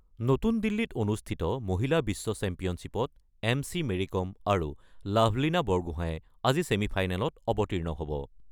নতুন দিল্লীত অনুষ্ঠিত মহিলা বিশ্ব চেম্পিয়নশ্বিপত এম চি মেৰিকম আৰু লাভলিনা বৰগোঁহায়ে আজি ছেমি ফাইনেলত অৱতীৰ্ণ হ'ব।